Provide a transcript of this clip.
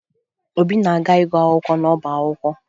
Obi na-aga ịgụ akwụkwọ n'ọba akwụkwọ